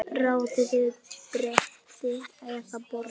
Raðið á bretti eða borð.